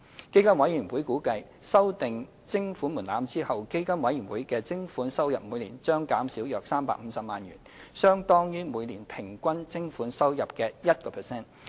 基金委員會估計，修訂徵款門檻後，基金委員會的徵款收入每年將減少約350萬元，相當於每年平均徵款收入的 1%。